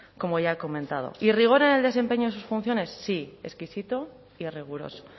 como ya he comentado y rigor en el desempeño de sus funciones sí exquisito y riguroso